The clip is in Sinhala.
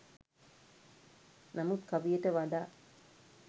නමුත් කවියට වඩා